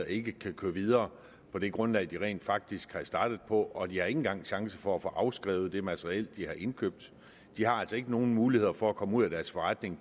ikke kan køre videre på det grundlag de rent faktisk er startet på og de har ikke engang en chance for at få afskrevet det materiel de har indkøbt de har altså ikke nogen muligheder for at komme ud af deres forretning